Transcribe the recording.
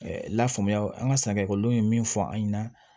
lafaamuya an ka san ekɔlidenw ye min fɔ an ɲɛna